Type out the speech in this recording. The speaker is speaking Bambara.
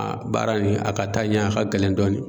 baara nin a ka taa ɲɛ a ka gɛlɛn dɔɔnin.